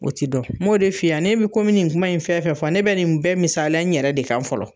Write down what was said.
O ti dɔn n m'o de f'i ye a ne bi ko n me nin kuma ni fɛn fɛn fɔ ne be nin bɛɛ misaliya n yɛrɛ de kan fɔlɔ